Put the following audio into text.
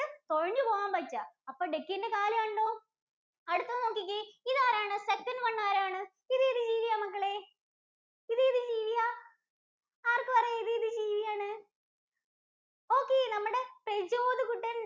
തൊഴഞ്ഞു പോകാന്‍ പറ്റുക. അപ്പോ Duck ഇന്‍റെ കാല് കണ്ടോ? അടുത്തത് നോക്കിക്കേ, ഇതാരാണ്? second one ആരാണ്? ഇതേത് ജീവിയാ മക്കളെ? ഇതേത് ജീവിയാ? ആര്‍ക്ക് പറയാം ഇതേത് ജീവിയാണ്? okay നമ്മുടെ പ്രജോദ് കുട്ടന്‍റെ